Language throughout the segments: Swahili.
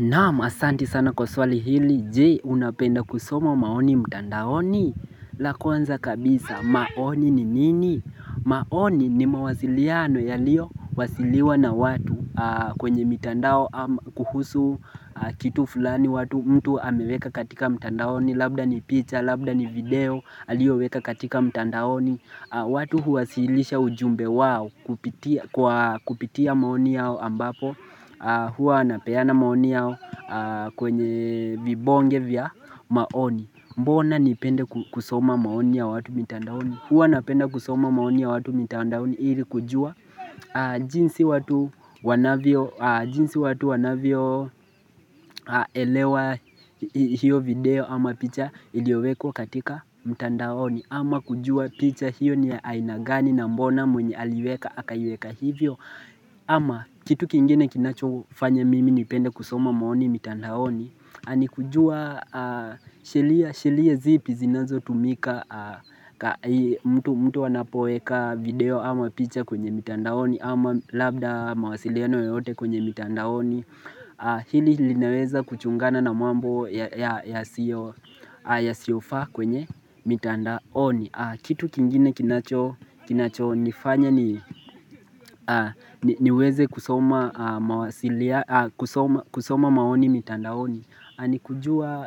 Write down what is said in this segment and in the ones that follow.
Naam asanti sana kwa swali hili, je unapenda kusoma maoni mtandaoni la kwanza kabisa, maoni ni nini? Maoni ni mawasiliano yaliyo, wasiliwa na watu kwenye mtandao kuhusu kitu fulani watu mtu ameweka katika mtandaoni Labda ni picha, labda ni video, aliyoweka katika mtandaoni watu huwasilisha ujumbe wao kupitia maoni yao ambapo Huwa wanapeana maoni yao kwenye vibonge vya maoni Mbona nipende kusoma maoni ya watu mitandaoni Huwa napenda kusoma maoni ya watu mitandaoni ili kujua jinsi watu wanavyo jinsi watu wanavyoelewa hiyo video ama picha iliwekwa katika mitandaoni ama kujua picha hiyo ni ya aina gani na mbona mwenye aliweka akaiweka hivyo ama kitu kingine kinacho fanya mimi nipende kusoma maoni mitandaoni ni kujua shelia zipi zinazotumika mtu anapoeka video ama picha kwenye mitandaoni ama labda mawasiliano yoyote kwenye mitandaoni Hili linaweza kuchungana na mambo yasiyofaa kwenye mitandaoni Kitu kingine kinacho nifanya niweze kusoma maoni mitandaoni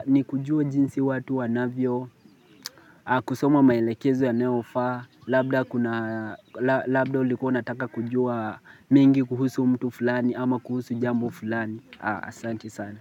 ni kujua jinsi watu wanavyo, kusoma maelekezo yanayofaa Labda ulikua unataka kujua mengi kuhusu mtu fulani ama kuhusu jambo fulani Asanti sana.